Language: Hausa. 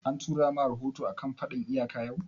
An tura ma rahoto a kan faɗan iyaka yau?